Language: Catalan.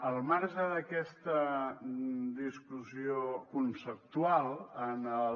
al marge d’aquesta discussió conceptual en el